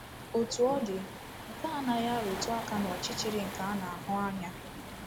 Otú ọ dị, nke a anaghị arụtụ aka n’ọchịchịrị nke a na-ahụ anya.